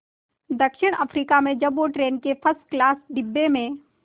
दक्षिण अफ्रीका में जब वो ट्रेन के फर्स्ट क्लास डिब्बे में